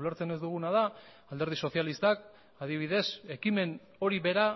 ulertzen ez duguna da alderdi sozialistak adibidez ekimen hori bera